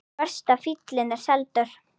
Verst að fíllinn er seldur.